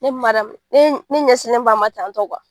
Ni Mariyamu ne ne ɲɛsilen b'a ma tan tɔ